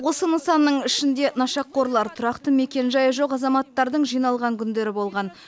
осы нысанның ішінде нашақорлар тұрақты мекенжайы жоқ азаматтардың жиналған күндері болған